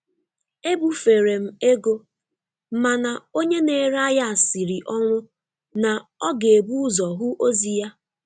E bufere m ego, mana onye na-ere ahịa siri ọnwụ na ọ ga-ebu ụzọ hụ ozi ya.